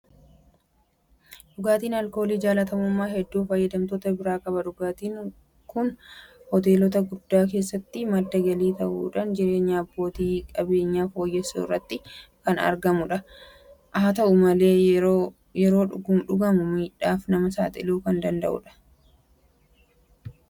Dhugaatiin Aalkoolii jaalatamummaa hedduu fayyadamtoota biraa qaba. Dhugaatiin kun Hoteelota hedduu keessatti madda galii ta'uudhaan jireenya abbootii qabeenyaa fooyyessuu irratti argama. Haata'u malee yeroo dhugamu machiidhaaf nama saaxiluudhaan rakkoo fayyaafi hubaatii qabeenya fayyadamtootaa fiduu irratti argama. Araada isaan qabamuun rakkoo biraa akkamii qaba?